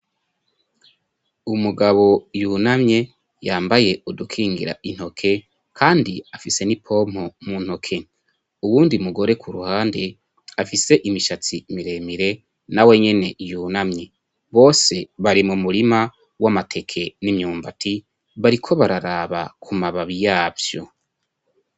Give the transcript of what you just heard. Umugabo yunamye yambaye udukingira intoke kandi afise n'ipompo mu ntoke. Uwundi mugore ku ruhande afise imishatsi miremire na wenyene yunamye. Bose bari mu murima w'amateke n'imyumbati bariko bararaba ku mababi yavyo